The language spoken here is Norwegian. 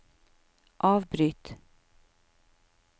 avbryt